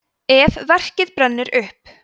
ef verkið brennur upp